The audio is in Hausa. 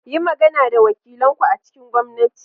Yi magana da wakilan ku a cikin gwamnati.